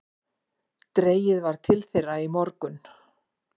Dregið var til þeirra í morgun